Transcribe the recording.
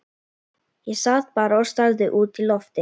Ég sat bara og starði út í loftið.